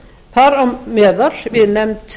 þar á meðal við nefnd